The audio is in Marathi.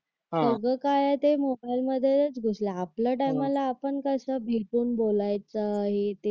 सगळ काय ते मोबाईल मध्ये घुसल आपल्या टाईमाला आपण कसं भेटून बोलायचं हे ते